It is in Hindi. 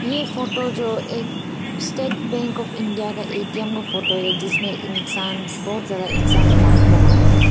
यह फोटो जो एक स्टेट बैंक आफ इंडिया का ए_टी_एम का फोटो है जिसमें इंसान बहुत ज्यादा इंसान लाइन बना रहे हैं।